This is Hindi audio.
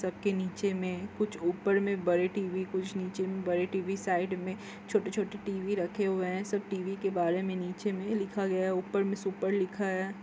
सब के नीचे में कुछ ऊपर मे बड़े टी_वी कुछ नीचे मे बड़े टी_वी साइड़ में छोटे छोटे टी_वी रखे हुए हैं सब टी_वी के बारे में नीचे में लिखा गया है ऊपर में सुपर लिखा है।